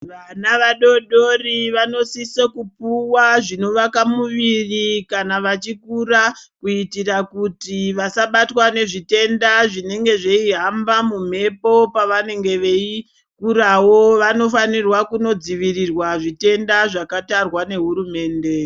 Vana vadodori vanosisa kupuwa zvinovaka muviri kana vachikura ,kuyitire kuti vasabatwa nezvitenda zvinenge zveyihamba mumhepo pavanenge veyikurawo, vanofanirwa kunodzivirirwa zvitenda zvakatarwa nehurumende.